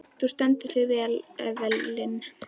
Þú stendur þig vel, Evelyn!